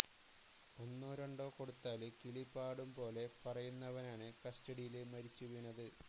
ഒന്നോ രണ്ടോ കൊടുത്താല് കിളി പാടും പോലെ പറയുന്നവനാണ് കസ്്റ്റഡിയില് മരിച്ചുവീണത്